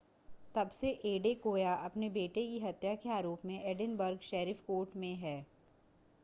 तब से एडेकोया अपने बेटे की हत्या के आरोप में एडिनबर्ग शेरिफ कोर्ट में है